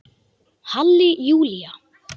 Halli Júlía!